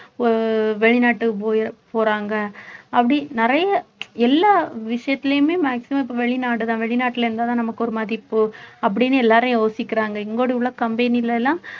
அஹ் வெளிநாட்டு போய்~ போறாங்க அப்படி நிறைய எல்லா விஷயத்திலயுமே maximum இப்ப வெளிநாடுதான் வெளிநாட்டுல இருந்தாதான் நமக்கு ஒரு மதிப்பு அப்படினு எல்லாரும் யோசிக்கிறாங்க இங்கோடு உள்ள company ல எல்லாம்